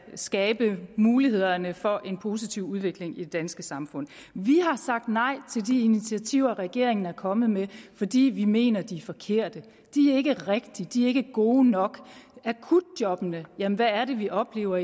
skabe mulighederne for en positiv udvikling i det danske samfund vi har sagt nej til de initiativer regeringen er kommet med fordi vi mener de er forkerte de er ikke rigtige de er ikke gode nok akutjobbene jamen hvad er det vi oplever